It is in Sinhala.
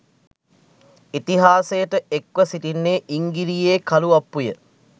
ඉතිහාසයට එක්ව සිටින්නේ ඉංගිරියේ කළුඅප්පුය.